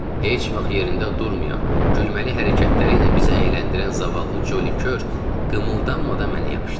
Heç vaxt yerində durmayan, gülməli hərəkətləri ilə bizə əyləndirən zavallı Ccoli kör qımıldanmadan yatdı.